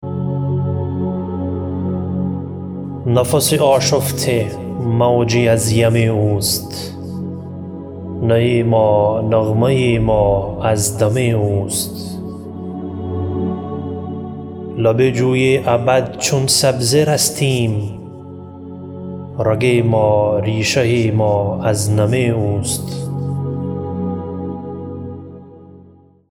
نفس آشفته موجی از یم اوست نی ما نغمه ما از دم اوست لب جوی ابد چون سبزه رستیم رگ ما ریشه ما از نم اوست